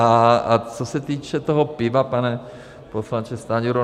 A co se týče toho piva, pane poslanče Stanjuro.